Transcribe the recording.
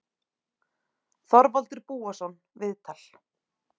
Þorvaldur Búason, viðtal